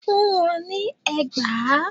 Fún wọn ní ẹgbàá!